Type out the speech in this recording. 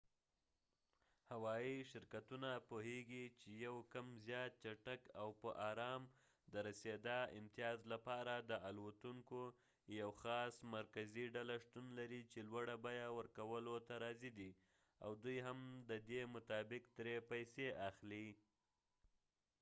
هوايي شرکتونه پوهیږي چې یو کم زیات چټک او په ارام د رسېدا امتیاز لپاره د الوتونکو یوه خاص مرکزي ډله شتون لري چې لوړه بیه ورکولو ته راضي دي او دوی هم د دې مطابق ترې پیسې اخلي